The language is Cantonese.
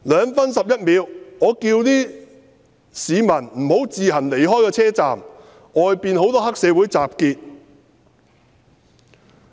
2分11秒：我叫市民不要自行離開車站，外面有很多黑社會分子集結。